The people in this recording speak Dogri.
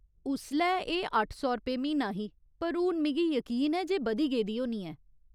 उसलै एह् अट्ठ सौ रपेऽ म्हीना ही पर हून मिगी यकीन ऐ जे बधी गेदी होनी ऐ।